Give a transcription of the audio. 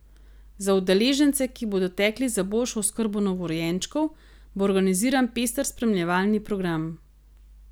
Za udeležence, ki bodo tekli za boljšo oskrbo novorojenčkov, bo organiziran pester spremljevalni program.